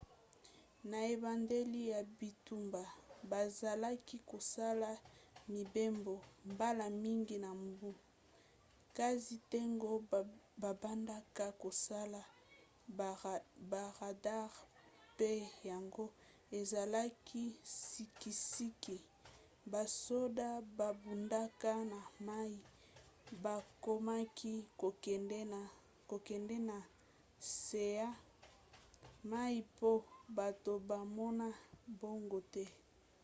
na ebandeli ya bitumba bazalaki kosala mibembo mbala mingi na mbu kasi ntango babandaka kosala baradare pe yango ezalaki sikisiki basoda babundaka na mai bakomaki kokende na se ya mai mpo bato bamona bango te